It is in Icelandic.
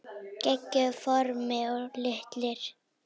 Geggjuð form og litir.